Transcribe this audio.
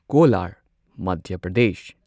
Kolar Madhya Pradesh